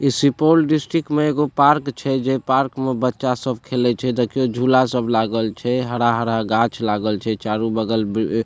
इ सुपौल डिस्ट्रिक्ट में एगो पार्क छै जे पार्क में बच्चा सब खेलेय छै देखो झूला सब लागल छै हरा-हरा गाछ लागल छै चारो बगल --